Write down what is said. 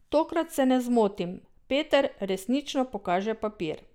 Tokrat se ne zmotim, Peter resnično pokaže papir.